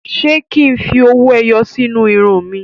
Ṣé kí n fi owó ẹyọ sí inú irun mi?